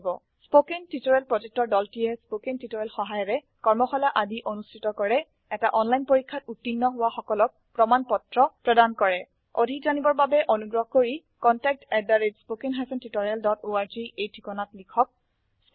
spoken tutorial প্ৰকল্পৰ দলটিয়ে spoken tutorial সহায়িকাৰে কৰ্মশালা আদি অনুষ্ঠিত কৰে এটা অনলাইন পৰীক্ষাত উত্তীৰ্ণ হোৱা সকলক প্ৰমাণ পত্ৰ প্ৰদান কৰে অধিক জানিবৰ বাবে অনুগ্ৰহ কৰি contactspoken tutorialorg এই ঠিকনাত লিখক